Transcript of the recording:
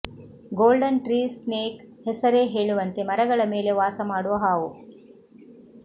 golden tree snake ಹೆಸರೇ ಹೇಳುವಂತೆ ಮರಗಳ ಮೇಲೆ ವಾಸಮಾಡುವ ಹಾವು